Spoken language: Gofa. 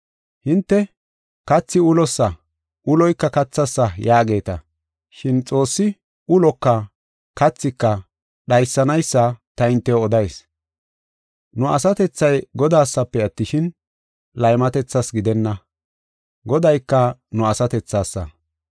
Hinte, “Kathi ulosa; uloyka kathasa” yaageeta. Shin Xoossi uloka kathika dhaysanaysa ta hintew odayis. Nu asatethay Godasafe attishin, laymatethas gidenna. Godayka nu asatethasa.